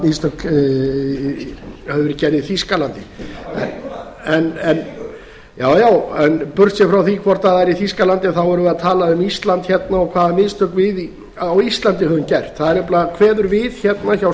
mistök hefðu verið gerð í þýskalandi já já en burtséð frá því hvort það var í þýskalandi þá erum við að tala um ísland hérna og hvaða mistök við á íslandi hefðum gert það kveður nefnilega við hérna hjá